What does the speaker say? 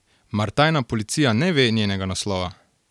Mar tajna policija ne ve njenega naslova?